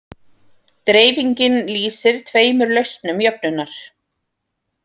Dreifingin lýsir tveimur lausnum jöfnunnar.